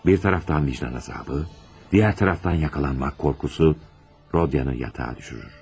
Bir taraftan vicdan azabı, diğer taraftan yakalanmak korkusu Rodia'nı yatağa düşürür.